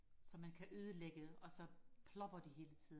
som man kan ødelægge og så plopper de hele tiden